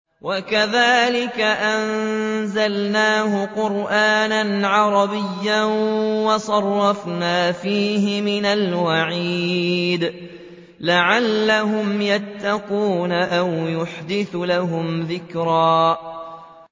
وَكَذَٰلِكَ أَنزَلْنَاهُ قُرْآنًا عَرَبِيًّا وَصَرَّفْنَا فِيهِ مِنَ الْوَعِيدِ لَعَلَّهُمْ يَتَّقُونَ أَوْ يُحْدِثُ لَهُمْ ذِكْرًا